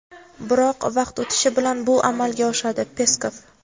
biroq vaqt o‘tishi bilan bu amalga oshadi – Peskov.